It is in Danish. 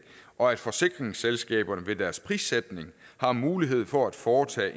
og at forsikringsselskaberne ved deres prissætning har mulighed for at foretage